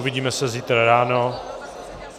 Uvidíme se zítra ráno.